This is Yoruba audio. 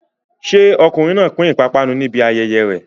Ṣé ọkùnrin náà pín ìpápánu níbi ayẹyẹ rẹ̀?